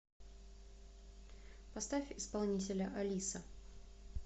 поставь исполнителя алиса